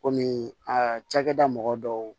Kɔmi aa cakɛda mɔgɔ dɔw